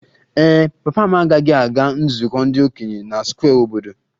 Ee e, papa m agaghị aga nzukọ ndị okenye na Square obodo